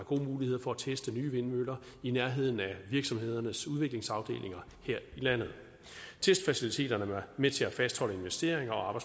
gode muligheder for at teste nye vindmøller i nærheden af virksomhedernes udviklingsafdelinger her i landet testfaciliteterne er med til at fastholde investeringer og